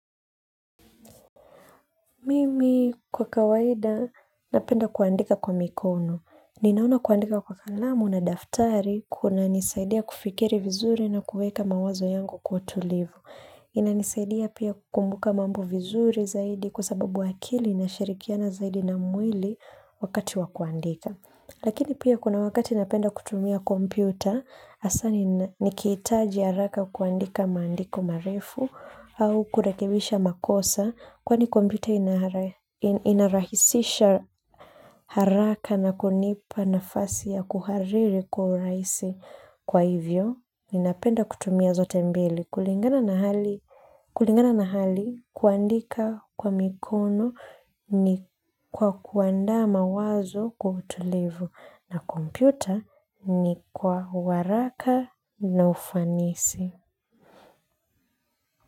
Mimi kwa kawaida napenda kuandika kwa mikono. Ninaona kuandika kwa kalamu na daftari kuna nisaidia kufikiri vizuri na kueka mawazo yangu kwa utulivu. Inanisaidia pia kukumbuka mambo vizuri zaidi kwa sababu akili inashirikiana zaidi na mwili wakati wa kuandika lakini pia kuna wakati napenda kutumia kompyuta, hasa nikihitaji haraka kuandika maandiko marefu au kurekebisha makosa. Kwani kompyuta inarahisisha haraka na kunipa nafasi ya kuhariri kwa urahisi, kwa hivyo. Ninapenda kutumia zote mbili. Kulingana na hali, kuandika kwa mikono ni kwa kuandaa mawazo kwa utulivu. Na kompyuta ni kwa uharaka na ufanisi.